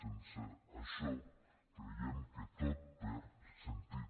sense això creiem que tot perd sentit